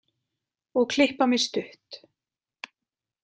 Og klippa mig stutt.